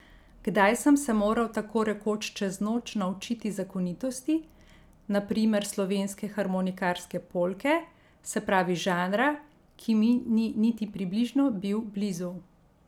Kdaj sem se moral tako rekoč čez noč naučiti zakonitosti na primer slovenske harmonikarske polke, se pravi žanra, ki mi ni niti približno bil blizu.